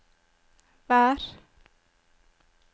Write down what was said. vær